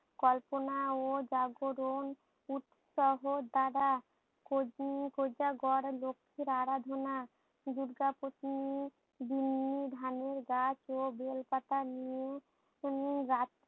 কল্পনা ও জাগরণ উৎসাহ দ্বারা কোজ উম কোজাগর লক্ষীর আরাধনা দূর্গা পত্নী বিন্নি ধানের গাছ ও বেল পাতা নিয়ে উম রাত